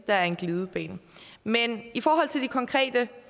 er en glidebane men i forhold til de konkrete